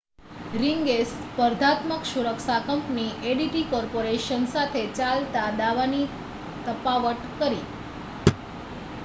રિંગે સ્પર્ધાત્મક સુરક્ષા company ADT corporation સાથે ચાલતા દાવાની પતાવટ કરી